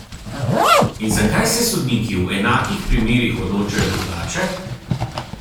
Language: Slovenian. In zakaj se sodniki v enakih primerih odločajo drugače?